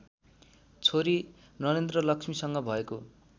छोरी नरेन्द्रलक्ष्मीसँग भएको